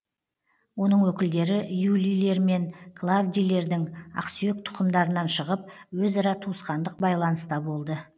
оның өкілдері юлийлер мен клавдийлердің ақсүйек тұқымдарынан шығып өзара туысқандық байланыста болды